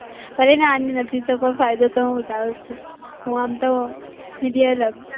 પણ નાની નથી તો પણ ફાયદો તો હું ઉઠાવું છું. હું આમ તો